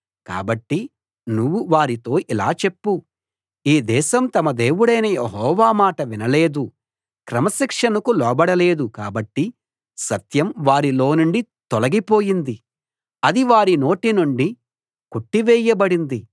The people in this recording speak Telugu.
కాబట్టి నువ్వు వారితో ఇలా చెప్పు ఈ దేశం తమ దేవుడైన యెహోవా మాట వినలేదు క్రమశిక్షణకు లోబడలేదు కాబట్టి సత్యం వారిలో నుండి తొలగిపోయింది అది వారి నోటినుండి కొట్టి వేయబడింది